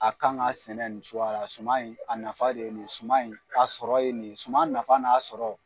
A kan ka sɛnɛ nin suman in a nafa de ye nin ye suman in ka sɔrɔ ye nin ye suman nafa n'a sɔrɔ.